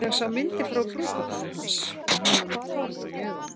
Ég sá myndir frá brúðkaupinu hans og hann var með tárin í augunum.